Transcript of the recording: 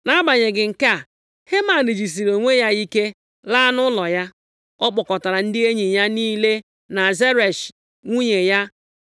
Nʼagbanyeghị nke a, Heman jisiri onwe ya ike, laa nʼụlọ ya. Ọ kpọkọtara ndị enyi + 5:10 Ndị hụrụ ya nʼanya ya niile na Zeresh, nwunye ya,